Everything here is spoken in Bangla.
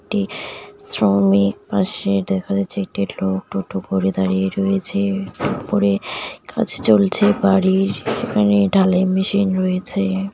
একটি শ্রমিক পাশে দেখা যাচ্ছে একটি লোক পরে দাঁড়িয়ে রয়েছে উপরে কাজ চলছে বাড়ির এখানে ঢালাই মেশিন রয়েছে .